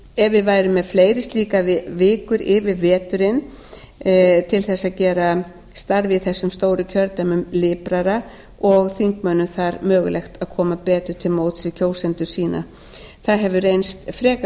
ef við værum með fleiri slíkar vikur yfir veturinn væri starfið í stóru kjördæmunum liprara og þingmönnum væri mögulegt að koma betur til móts við kjósendur sína það hefur reynst frekar